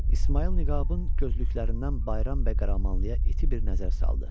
İsmayıl niqabın gözlüklərindən Bayram bəy Qaramanlıya iti bir nəzər saldı.